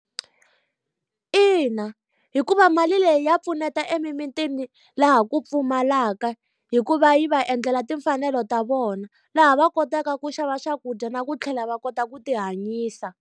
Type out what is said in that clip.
Ina hikuva mali leyi ya pfuneta emimitini laha ku pfumalaka hi ku va yi va endlela timfanelo ta vona. Laha va kotaka ku xava swakudya na ku tlhela va kota ku ti hanyisa.